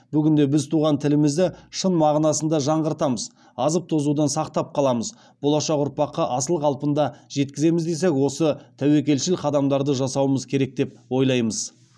бүгінде біз туған тілімізді шын мағынасында жаңғыртамыз азып тозудан сақтап қаламыз болашақ ұрпаққа асыл қалпында жеткіземіз десек осы тәуекелшіл қадамдарды жасауымыз керек деп ойлаймыз